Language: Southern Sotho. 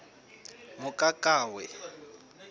mokakawe